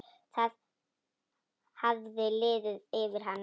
Það hafði liðið yfir hana!